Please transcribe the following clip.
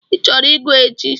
I chọrọ ịgụ chi?